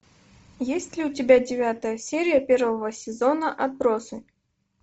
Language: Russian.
есть ли у тебя девятая серия первого сезона отбросы